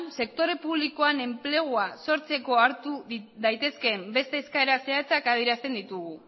sektore publikoan enplegua sortzeko hartu daitezkeen beste eskaera zehatzak adierazten ditugu